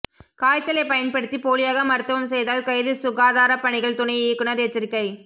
காய்ச்சலைப் பயன்படுத்தி போலியாக மருத்துவம் செய்தால் கைது சுகாதாரப்பணிகள் துணை இயக்குநா் எச்சரிக்கை